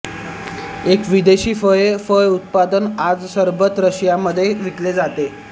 एक विदेशी फळे फळ उत्पादन आज सरबत रशिया मध्ये विकले जाते